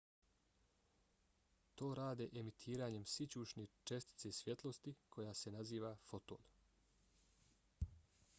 to rade emitiranjem sićušne čestice svjetlosti koja se naziva foton